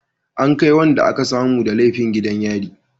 An kai wanda aka samu da laifi gidan yari